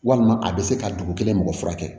Walima a bɛ se ka dugu kelen mɔgɔ furakɛ